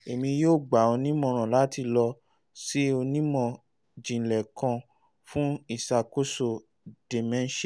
emi yoo gba ọ ni imọran lati lọ si onimọ-jinlẹ kan fun iṣakoso dementia